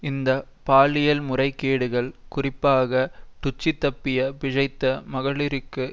இந்த பாலியல்முறைகேடுகள் குறிப்பாக டுட்சி தப்பி பிழைத்த மகளிருக்கு